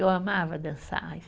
Eu amava dançar.